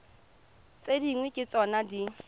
tse dingwe ke tsona di